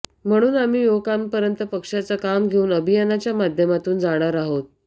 म्हणून आम्ही युवकांपर्यंत पक्षाचं काम घेऊन अभियानाच्या माध्यमातून जाणार आहोत